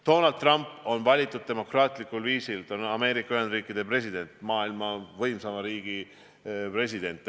Donald Trump on valitud demokraatlikul viisil, ta on Ameerika Ühendriikide president, maailma võimsaima riigi president.